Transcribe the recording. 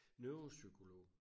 Neuropsykolog